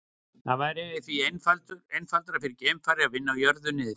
Það væri því einfaldara fyrir geimfara að vinna á jörðu niðri.